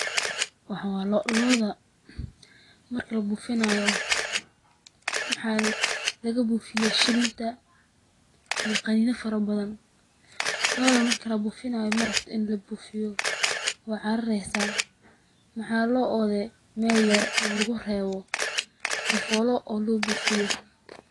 Waxan waa loo, looda marki la buufinayo maxa laga buufiya shininta iyo qaninyo fara badan, looda marki labuufinayo marabto in labuufiyo way carareysa maxa loo ode Mel yar oo lugu reebo sifolo oo loo buufiyo